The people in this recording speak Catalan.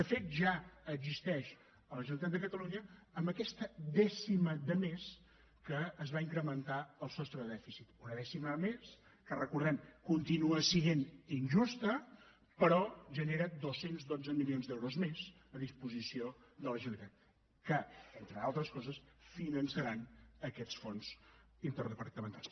de fet ja existeix a la generalitat de catalunya amb aquesta dècima de més amb què es va incrementar el sostre de dèficit una dècima més que ho recordem continua sent injusta però genera dos cents i dotze milions d’euros més a disposició de la generalitat que entre altres coses finançaran aquests fons interdepartamentals